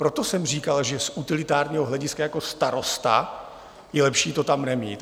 Proto jsem říkal, že z utilitárního hlediska jako starosta je lepší to tam nemít.